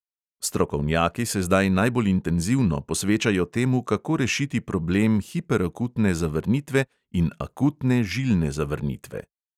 Strokovnjaki se zdaj najbolj intenzivno posvečajo temu, kako rešiti problem hiperakutne zavrnitve in akutne žilne zavrnitve.